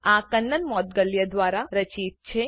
આ કન્નન મોઉદગલ્યા દ્વારા રચિત છે